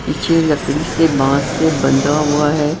पीछे लकड़ी से बांस से बंधा हुआ है।